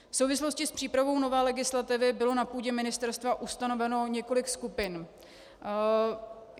V souvislosti s přípravou nové legislativy bylo na půdě ministerstva ustanoveno několik skupin.